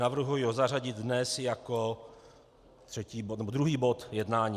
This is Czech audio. Navrhuji ho zařadit dnes jako druhý bod jednání.